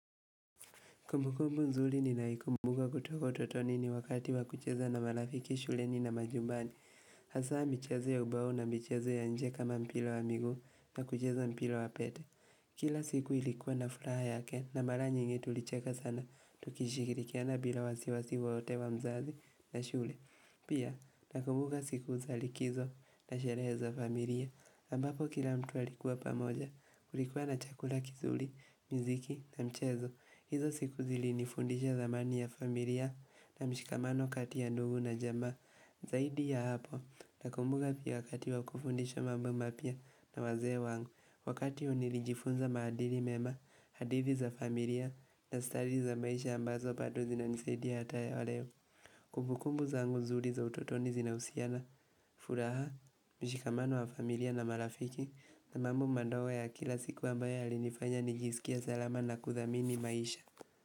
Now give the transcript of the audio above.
Kumbukumbu nzuri ninayoikumbuka kutoka utotoni ni wakati wa kucheza na marafiki shuleni na majumbani. Hasa michezo ya ubao na michezo ya nje kama mpira wa miguu na kucheza mpira wa pete. Kila siku ilikuwa na furaha yake na mara nyingi tulicheka sana. Tukishikirikiana bila wasiwasi wowote wa mzazi na shule. Pia nakumbuka siku za likizo na sherehe za familia. Ambapo kila mtu alikuwa pamoja kulikuwa na chakula kizuri, miziki na mchezo. Hizo siku zilinifundisha zamani ya familia na mshikamano kati ya ndugu na jamaa Zaidi ya hapo nakumbuka pia wakati wa kufundisha mambo mapya na wazee wangu Wakati huo nilijifunza maadili mema, hadithi za familia na stadi za maisha ambazo bado zinanisaidia hata ya waleo Kumbukumbu zangu nzuri za utotoni zinahusiana, furaha, mshikamano wa familia na marafiki na mambo madogo ya kila siku ambayo yalinifanya nijisikie salama na kuthamini maisha.